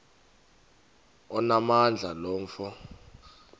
onamandla lo mfo